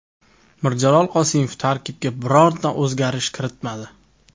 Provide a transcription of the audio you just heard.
Mirjalol Qosimov tarkibga bironta o‘zgarish kiritmadi.